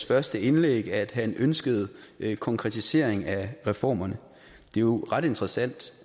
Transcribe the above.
første indlæg at han ønskede en konkretisering af reformerne det er jo ret interessant